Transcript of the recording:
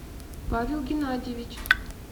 павел геннадьевич